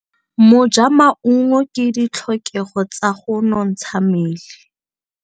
Go ja maungo ke ditlhokegô tsa go nontsha mmele.